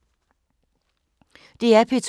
DR P2